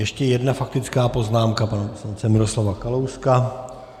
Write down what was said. Ještě jedna faktická poznámka pana poslance Miroslava Kalouska.